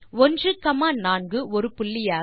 14 ஒரு புள்ளியாக